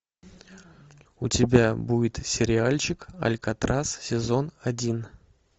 у тебя будет сериальчик алькатрас сезон один